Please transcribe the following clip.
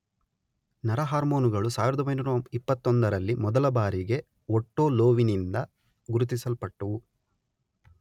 ನರಹಾರ್ಮೋನುಗಳು ಸಾವಿರದೊಂಬೈನೂರ ಇಪ್ಪತ್ತೊಂದರಲ್ಲಿ ಮೊದಲಬಾರಿಗೆ ಒಟ್ಟೊ ಲೋವಿಯಿಂದ ಗುರುತಿಸಲ್ಪಟ್ಟವು.